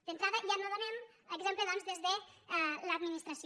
d’entrada ja no donem exemple doncs des de l’administració